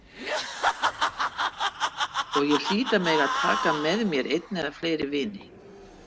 Og ég hlýt að mega taka með mér einn eða fleiri vini.